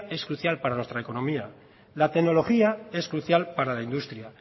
es especial para nuestra economía la tecnología es crucial para la industria